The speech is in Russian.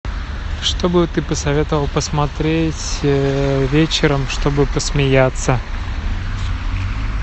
что бы ты посоветовала посмотреть вечером чтобы посмеяться